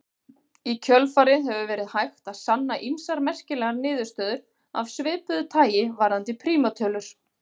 Í kjölfarið hefur verið hægt að sanna ýmsar merkilegar niðurstöður af svipuðu tagi varðandi prímtölur.